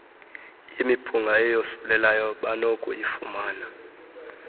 yemiphunga eyosulelayo banokuyifumana